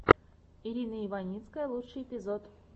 ирина иваницкая лучший эпизод